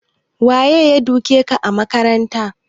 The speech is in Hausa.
Waye duke ka a makaranta?